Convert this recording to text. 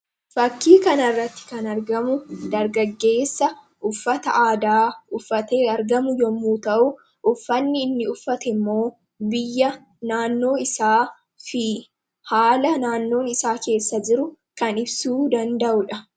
Fakkii kanarratti kan argamu dargaggeessa uffata aadaa uffatee argamu yommuu ta'uu, uffanni inni uffate immoo biyya naannoo isaa fi haala naannoon isaa keessa jiru kan ibsuu danda'uudha.